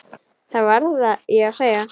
Það verð ég að segja.